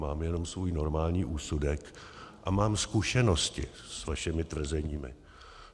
Mám jenom svůj normální úsudek a mám zkušenosti s vašimi tvrzeními.